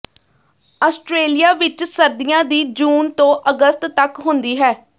Australia ਵਿੱਚ ਸਰਦੀਆਂ ਦੀ ਜੂਨ ਤੋਂ ਅਗਸਤ ਤੱਕ ਹੁੰਦੀ ਹੈ